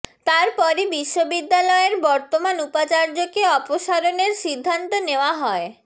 তার পরই বিশ্ববিদ্যালয়ের বর্তমান উপাচার্যকে অপসারণের সিদ্ধান্ত নেওয়া হয়